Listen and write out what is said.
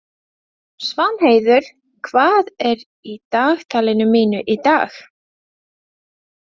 Svanheiður, hvað er í dagatalinu mínu í dag?